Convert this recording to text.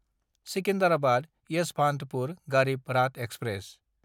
Secunderabad Yesvantpur Garib Rath express